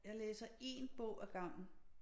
Jeg læser én bog ad gangen